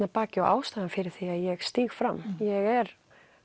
að baki og ástæðan fyrir því að ég stíg fram ég er